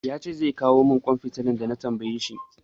Ya ce zai kawo min ƙwan fitilan da na tambaye shi.